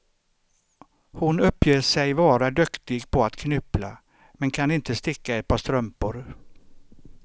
Hon uppger sig vara duktig på att knyppla, men kan inte sticka ett par strumpor.